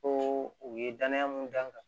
Ko u ye danaya mun d'an kan